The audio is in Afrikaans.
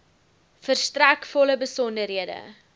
verstrek volle besonderhede